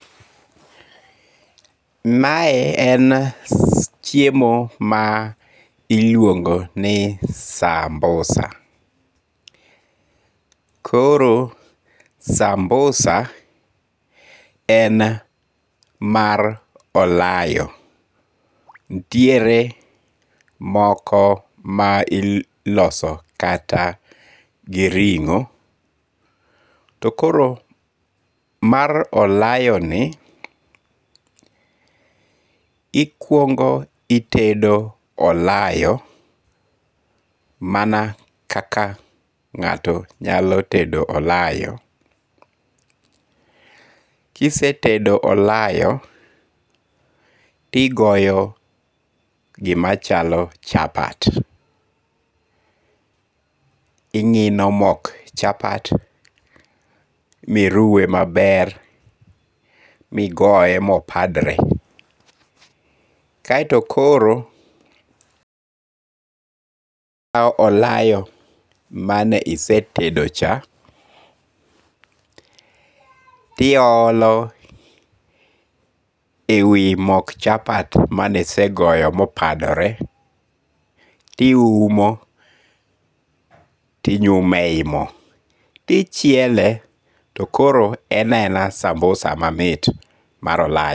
Mae en chiemo ma iluongo ni sambusa, koro sambusa en mar olayo nitiere moko ma iloso kata gi ringo', to koro mar olayoni ikwongo itedo olayoni mana kaka nga'to nyalo tedo olayo, kisetedo olayo' tigoyo gimachalo chapat, tingi'no mok chapat miruwe maber migoye mopadre, kaeto koro ikawo olayo mane isetedo cha tiyolo e wi mok chapat mane isegoyo mane opadore tiumo tinyume yi mo ti chiele to koro ena ena sambusa mamit mar olayo.